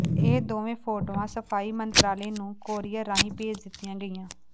ਇਹ ਦੋਵੇਂ ਫੋਟੋਆਂ ਸਫ਼ਾਈ ਮੰਤਰਾਲੇ ਨੂੰ ਕੋਰੀਅਰ ਰਾਹੀਂ ਭੇਜ ਦਿਤੀਆਂ ਗਈਆਂ